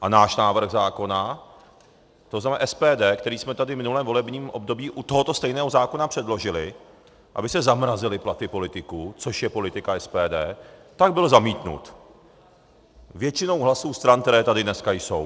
A náš návrh zákona, to znamená SPD, který jsme tady v minulém volebním období u tohoto stejného zákona předložili, aby se zamrazily platy politiků, což je politika SPD, tak byl zamítnut většinou hlasů stran, které tady dneska jsou.